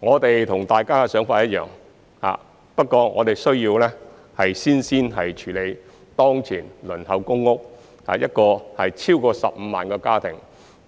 我們和大家的想法一樣，不過我們需要先處理當前輪候公屋的超過15萬個家庭、